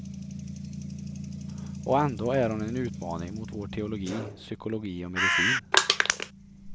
Och ändå är hon en utmaning mot vår teologi, psykologi och medicin.